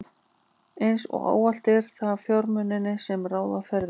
Eins og ávallt eru það fjármunirnir, sem ráða ferðinni.